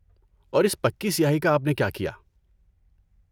اور اس پکی سیاہی کا آپ نے کیا کِیا؟